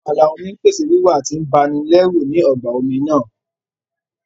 Àwọn ààlà omi ń pèsè wíwà tí ń ba ni lẹ́rù ní ọgbà omi náà